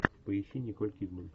поищи николь кидман